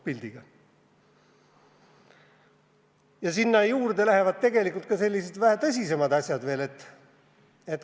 Aga sinna juurde käivad tegelikult ka vähe tõsisemad asjad.